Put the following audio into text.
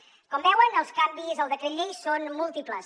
com veuen els canvis al decret llei són múltiples